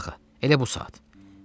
Qazağı, elə bu saat.